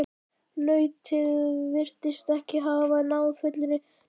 Nautið virtist ekki hafa náð fullri meðvitund.